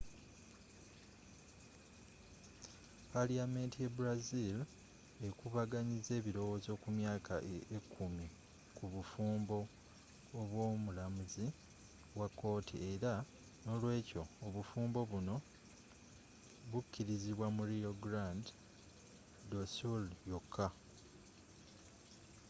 paliyamenti ye brazil ekubaganyizza ebilowozo ku myaka ekumi ku bufumbo obwo mulamuzi wa kooti era n'olwekyo obufumbo buno bukilizibwa mu rio grande do sul yoka